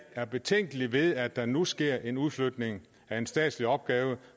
er betænkelige ved at der nu sker en udflytning af en statslig opgave